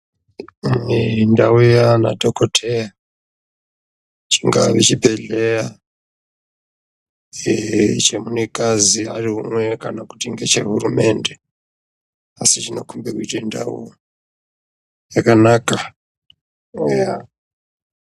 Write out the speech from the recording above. Kune ndau yaanadhokodheya chingave chibhedhleya eee chemunikazi ari umwe kana ngechehurumende, asi zvinokhombe kuite ndau, yakanaka ,eyaaa.